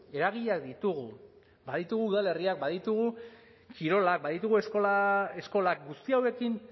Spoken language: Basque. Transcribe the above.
eragileak ditugu baditugu udalerriak baditugu kirolak baditugu eskolak guzti hauekin